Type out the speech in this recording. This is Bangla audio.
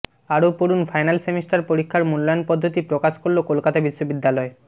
আরও পড়ুন ফাইনাল সেমিস্টার পরীক্ষার মূল্যায়ন পদ্ধতি প্রকাশ করল কলকাতা বিশ্ববিদ্যালয়